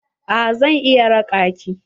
Eh zan iya raƙa ki.